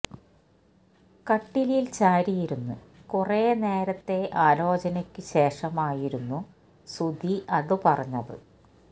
കട്ടിലിൽ ചാരിയിരുന്ന് കുറേ നേരത്തേ ആലോചനയ്ക്ക് ശേഷമായിരുന്നു സുധി അത് പറഞ്ഞത്